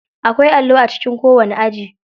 Akwai allo a cikin kowani aji.